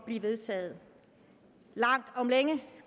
blive vedtaget langt om længe